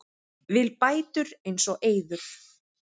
Vill bætur eins og Eiður